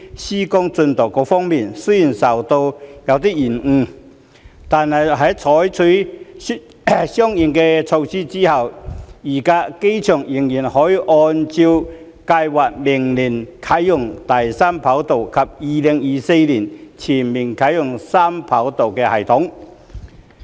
施工進度方面，雖然受到延誤，但在採取相應措施後，預計機場仍可按計劃於明年啟用第三條跑道及2024年全面啟用三跑道系統。